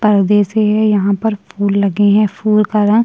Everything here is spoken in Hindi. परदे से यहाँ पर फुल लगे है फुल का रंग --